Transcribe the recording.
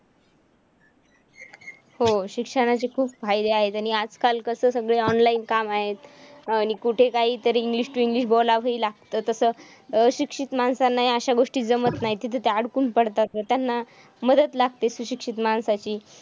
हो, शिक्षणाचे खूप फायदे आहेत आणि आजकाल कसं सगळे online काम आहेत आणि कुठे काही तरी English to English बोलावही लागतं. तसं अशिक्षित माणसांना अशा गोष्टी जमत नाही तिथे ते अडकून पडतात. त्यांना मदत लागते सुशिक्षित माणसाची.